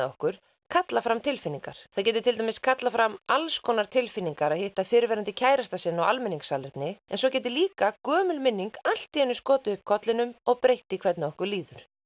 okkur kalla fram tilfinningar það getur til dæmis kallað fram alls konar tilfinningar að hitta fyrrverandi kærastann sinn á almenningssalerni en svo getur það líka gömul minning allt í einu skotið upp kollinum og breytt því hvernig okkur líður